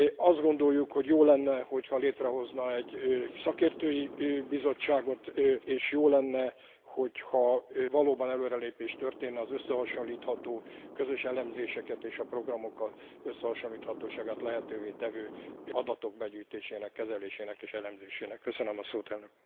Azt gondoljuk, hogy jó lenne, ha létrehozna egy szakértői bizottságot, és jó lenne, ha valóban előrelépés történne az összehasonlítható közös elemzéseket és a programok összehasonlíthatóságát lehetővé tevő adatok begyűjtésének, kezelésének és elemzésének terén.